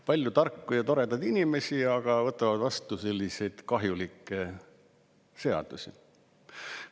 Palju tarku ja toredaid inimesi, aga võtavad vastu selliseid kahjulikke seadusi?!